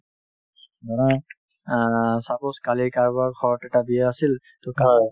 ধৰা অ suppose কালি কাৰোবাৰ ঘৰত এটা বিয়া আছিল to কাপোৰ